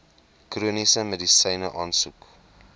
chroniese medisyne aansoek